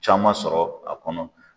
Caman sɔrɔ a kɔnɔ.